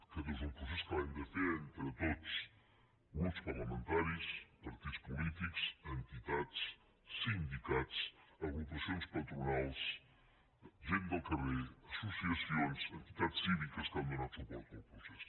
aquest és un procés que l’hem de fer entre tots grups parlamentaris partits polítics entitats sindicats agrupacions patronals gent del carrer associacions entitats cíviques que han donat suport al procés